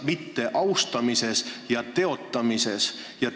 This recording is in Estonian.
Mitteaustamisel ja teotamisel on vahe.